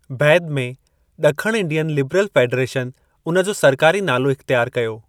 बैदि में, ॾखणु इंडियन लिबरल फ़ेडरेशन उन जो सरकारी नालो इख़्तियारु कयो।